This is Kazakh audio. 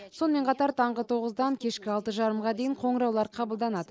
сонымен қатар таңғы тоғыздан кешкі алты жарымға дейін қоңыраулар қабылданады